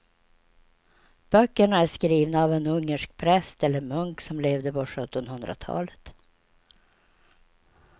Böckerna är skrivna av en ungersk präst eller munk som levde på sjuttonhundratalet.